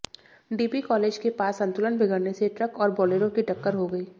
dB college के पास संतुलन बिगड़ने से ट्रक और बाेलेराे की टक्कर हो गई